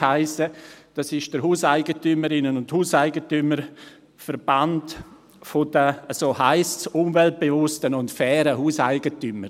Dies ist der Hauseigentümerinnen- und Hauseigentümerverband der – so heisst er – umweltbewussten und fairen Hauseigentümer.